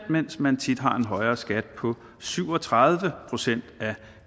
mens man tit har en højere skat på syv og tredive procent af